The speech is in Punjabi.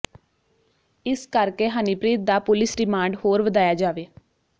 ਇਸ ਕਰਕੇ ਹਨੀਪ੍ਰੀਤ ਦਾ ਪੁਲਿਸ ਰਿਮਾਂਡ ਹੋਰ ਵਧਾਇਆ ਜਾਵੇ